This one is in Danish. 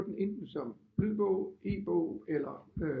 Få den ind som lydbog e-bog eller